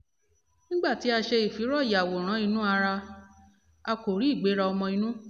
nígbà tí a ṣe ìfìró-yàwòrán-inú-ara a kò rí ìgbéra ọmọ-inú